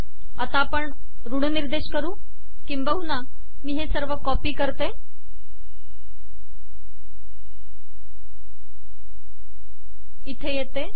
आता आपण ऋणनिर्देश करु किंबहुना मी हे सर्व कॉपी करते इथे येते